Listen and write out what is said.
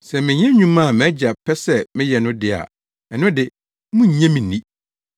Sɛ menyɛ nnwuma a mʼAgya pɛ sɛ meyɛ no de a ɛno de, munnnye me nni.